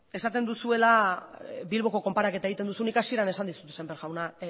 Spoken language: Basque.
esaten duzuela bilboko konparaketa egiten duzu nik hasieran esan dizut semper jauna